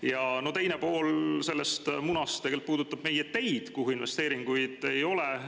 Ja selle muna teine pool puudutab meie teid, kuhu investeeringuid ei ole.